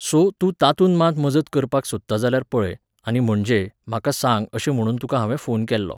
So, तूं तातूंत मात मजत करपाक सोदता जाल्यार पळय, आनी म्हणजे, म्हाका सांग अशें म्हुणून तुका हांवें फोन केल्लो.